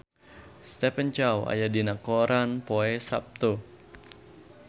Stephen Chow aya dina koran poe Saptu